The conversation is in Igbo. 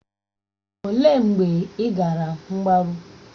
Olee mgbe ị gara mgbaru?